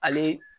Ale